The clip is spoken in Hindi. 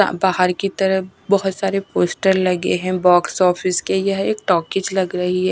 बाहर की तरफ बहोत सारे पोस्टर लगे हैं। बॉक्स ऑफिस के यह एक टॉकीज लग रही है।